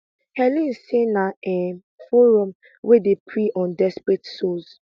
helen say na um forum wey dey prey on desperate souls